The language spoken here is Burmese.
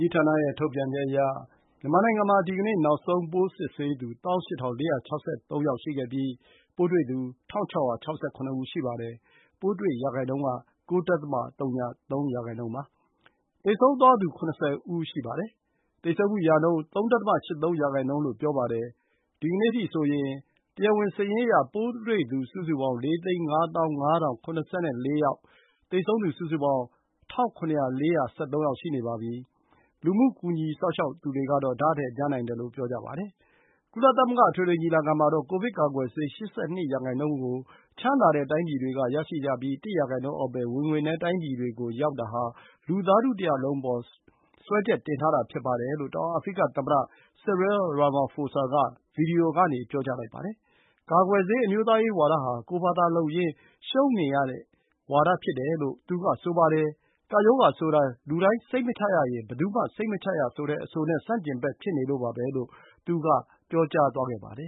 ကြီးဌာနရဲ့ ထုတ်ပြန်ချက်အရ မြန်မာနိုင်ငံမှာ ဒီကနေ့ နောက်ဆုံး ပိုးစစ်ဆေးသူ ၁၈,၄၆၃ ယောက် ရှိခဲ့ပြီး ပိုးတွေ့သူ ၁,၆၆၇ ယောက် ရှိပါတယ်။ ပိုးတွေ့ရာနှုန်း ၉.၀၃% ပါ။ သေဆုံးသွားသူ အယောက် ၇၀ ဦး ရှိပါတယ်။ သေဆုံးမှုရာနှုန်း ၃.၈၃% လို့ ပြောပါတယ်။ ဒီကနေ့အထိဆိုရင် တရားဝင်စာရင်းအရ ပိုးတွေ့သူ စုစုပေါင်း ၄ သိန်း ၅ သောင်း ၅ ထောင် ၇၄ ယောက်၊ သေဆုံးသူ စုစုပေါင်း ၁၇,၄၁၃ ယေက် ရှိနေပါပြီ။ လူမှုကူညီစောင့်ရှောက်သူတွေကတော့ တကယ်jဖစ်နေတာတွေက တရားဝင်စာရင်းထက် များနိုင်စရာရှိတယ်လို့ ပြောကြပါတယ်။ ကုလသမဂ္ဂ အထွေထွေညီလာခံမှာတော့ ကိုဗစ်ကာကွယ်ဆေး ၈၂% ကို ချမ်းသာတဲ့တိုင်းပြည်တွေက ရရှိကြပြီး ၁% အောက်ပဲ ဝင်ငွေနည်းတိုင်းပြည်တွေကို ရောက်တာဟာ လူသားထုတရပ်လုံးအပေါ် စွဲချက်တင်ထားတာ ဖြစ်ပါတယ်လို့ တောင်အာဖရိကသမ္မတ Cyril Ramaphosa က ဗွီဒီယိုကနေ ပြောကြားလိုက်ပါတယ်။ ကာကွယ်ဆေး အမျိုးသားရေးဝါဒဟာ ကိုယ့်ဖာသာလုပ်ရင်း ရှုံးနိမ့်ရတဲ့ဝါဒ ဖြစ်တယ်လို့ သူကဆိုပါတယ်။ ကပ်ရောဂါဆိုတာ လူတိုင်း စိတ်မချရရင် ဘယ်သူမှ စိတ်မချရဆိုတဲ့အဆိုနဲ့ ဆန့်ကျင်ဘက်ဖြစ်နေလို့ပါပဲလို့ သူကပြောသွားပါတယ်။